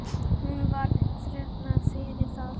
Hún var þakklát fyrir það.